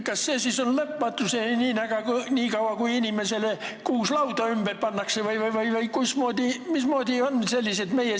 Kas see võib kesta lõpmatuseni, nii kaua kuni inimesele kuus lauda ümber pannakse, või mismoodi meie seadused on?